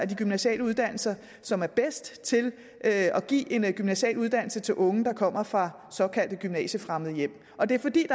de gymnasiale uddannelser som er bedst til at give en gymnasial uddannelse til unge der kommer fra såkaldt gymnasiefremmede hjem og det er fordi